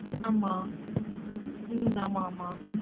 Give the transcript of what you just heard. ஆமா உம் ஆமா ஆமா